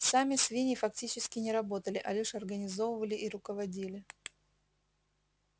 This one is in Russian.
сами свиньи фактически не работали а лишь организовывали и руководили